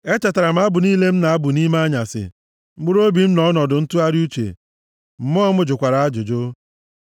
Echetara m abụ niile m na-abụ nʼime anyasị. Mkpụrụobi m nọ nʼọnọdụ ntụgharị uche, mmụọ m jụkwara ajụjụ.